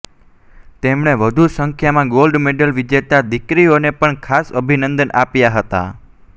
તેમણે વધુ સંખ્યામાં ગોલ્ડ મેડલ વિજેતા દિકરીઓને પણ ખાસ અભિનંદન આપ્યા હતા